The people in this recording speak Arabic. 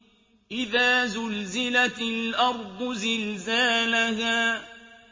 إِذَا زُلْزِلَتِ الْأَرْضُ زِلْزَالَهَا